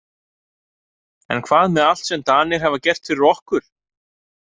En hvað með allt sem Danir hafa gert fyrir okkur?